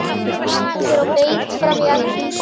ALLIR Á BEIT FRAM Í ELDHÚS!